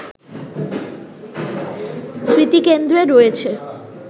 স্মৃতিকেন্দ্রে রয়েছে